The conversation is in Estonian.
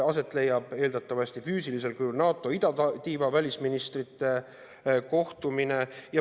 Aset leiab eeldatavasti füüsilisel kujul NATO idatiiva välisministrite kohtumine.